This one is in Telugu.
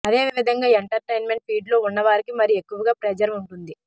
అదే విధంగా ఎంటర్టైన్మెంట్ ఫీల్డ్లో ఉన్నవారికి మరి ఎక్కువగా ప్రెజర్ ఉంటుంది